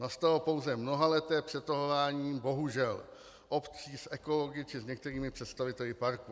Nastalo pouze mnohaleté přetahování bohužel obcí s ekology či s některými představiteli parku.